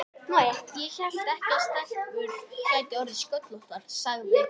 Ég hélt ekki að stelpur gætu orðið sköllóttar, sagði